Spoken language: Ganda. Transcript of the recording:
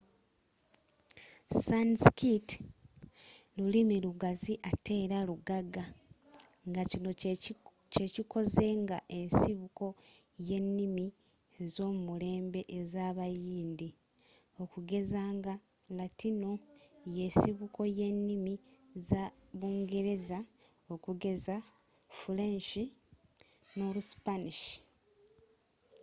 sanskirt lulimi lugazi ateera lugagga ngakino kyekikoze nga ensibuko yennimi ezomulembe ezabayindi okugeza nga latino yensibuko yennimi za bungereza okugeza fuleenshi noluspanish